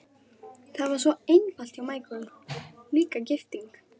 Það var allt svo einfalt hjá Michael, líka gifting.